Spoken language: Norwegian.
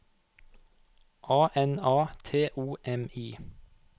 A N A T O M I